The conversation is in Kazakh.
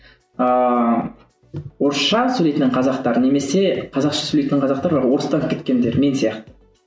ааа орысша сөйлейтін қазақтар немесе қазақша сөйлейтін қазақтар орыстанып кеткендер мен сияқты